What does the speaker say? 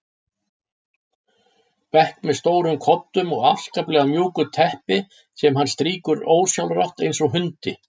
bekk með stórum koddum og afskaplega mjúku teppi sem hann strýkur ósjálfrátt eins og hundi.